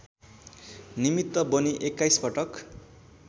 निमित्त बनी एक्काइसपटक